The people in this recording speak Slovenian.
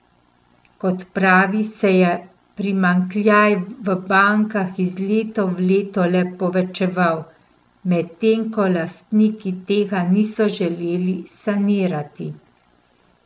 Kot pravi, se je primanjkljaj v bankah iz leta v leto le povečeval, medtem ko lastniki tega niso želeli sanirati.